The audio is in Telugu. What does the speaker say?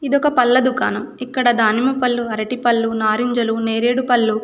ఇదొక పళ్ళ దుకాణం. ఇక్కడ దానిమ్మపళ్ళు అరటిపళ్ళు నారింజలు నేరేడుపళ్ళు--